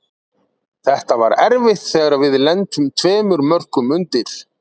Þetta var erfitt þegar við lentum tveimur mörkum undir.